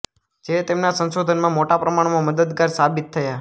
જે તેમના સંશોધનમાં મોટા પ્રમાણમાં મદદગાર સાબિત થયા